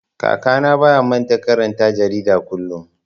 Kakana baya manta karanta jarida kullum.